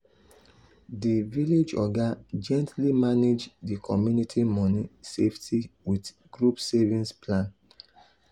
the village oga gently manage the community money safety wit group savings plan.